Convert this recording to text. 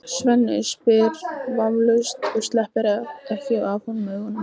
Svenni spyr vafningalaust og sleppir ekki af honum augunum.